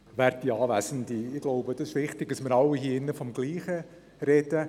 Es ist wichtig, dass wir alle vom selben sprechen.